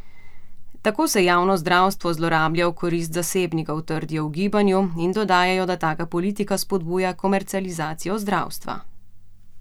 Tako se javno zdravstvo zlorablja v korist zasebnikov, trdijo v gibanju in dodajo, da taka politika spodbuja komercializacijo zdravstva.